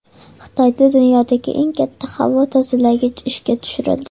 Xitoyda dunyodagi eng katta havo tozalagich ishga tushirildi .